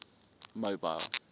mobile